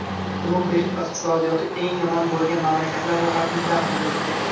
Bloomberg iqtisodiyoti eng yomon bo‘lgan mamlakatlar ro‘yxatini taqdim etdi.